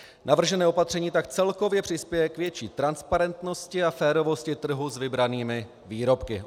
Navržené opatření tak celkově přispěje k větší transparentnosti a férovosti trhu s vybranými výrobky.